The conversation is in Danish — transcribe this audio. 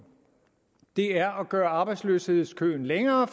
er at gøre arbejdsløshedskøen længere